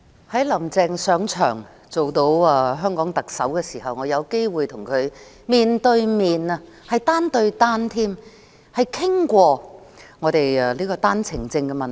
在"林鄭"上台做香港特首後，我有機會跟她面對面、單對單討論單程證問題。